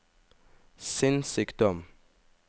sinnssykdom